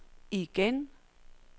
igen